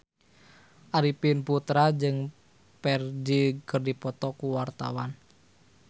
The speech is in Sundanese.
Arifin Putra jeung Ferdge keur dipoto ku wartawan